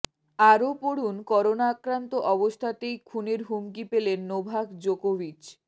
আরও পড়ুনঃকরোনা আক্রান্ত অবস্থাতেই খুনের হুমকি পেলেন নোভাক জোকোভিচ